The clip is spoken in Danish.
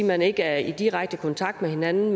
man ikke er i direkte kontakt med hinanden